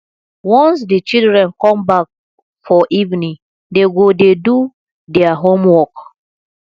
once di children come back for evening dey go dey do their homework